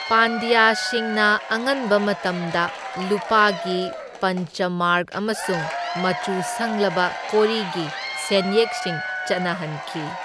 ꯄꯥꯟꯗ꯭ꯌꯥꯁꯤꯡꯅ ꯑꯉꯟꯕ ꯃꯇꯝꯗ ꯂꯨꯄꯥꯒꯤ ꯄꯟꯆ ꯃꯥꯔꯛ ꯑꯃꯁꯨꯡ ꯃꯆꯨ ꯁꯪꯂꯕ ꯀꯣꯔꯤꯒꯤ ꯁꯦꯟꯌꯦꯛꯁꯤꯡ ꯆꯠꯅꯍꯟꯈꯤ꯫